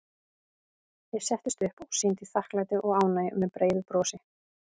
Ég settist upp og sýndi þakklæti og ánægju með breiðu brosi.